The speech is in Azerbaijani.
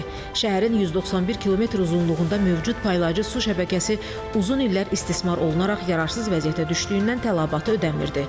Şəhərin 191 kilometr uzunluğunda mövcud paylayıcı su şəbəkəsi uzun illər istismar olunaraq yararsız vəziyyətə düşdüyündən tələbatı ödəmirirdi.